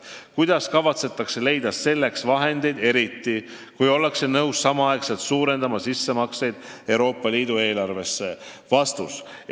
Kuidas kavatsetakse leida selleks vahendeid, eriti, kui ollakse nõus samaaegselt suurendama sissemakseid Euroopa Liidu eelarvesse?